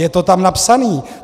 Je to tam napsané!